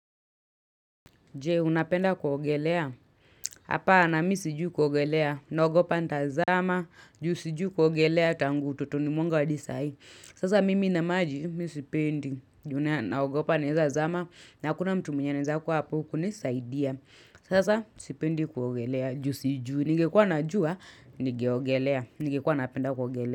Jee, unapenda kuogelea? Hapana, mi sijuu kuogelea. Naogopa ntazama, juu sijui kuogelea tangu utotoni mwagu wadisa hii. Sasa mimi inamaji, mi sipendi. Juna naogopa ntazama, na kuna mtu mwenye neza kuwa hapu kunisaidia. Sasa, sipendi kuogelea, juu sijui. Ningekua najua, nigeogelea. Nigekua napenda kuogelea.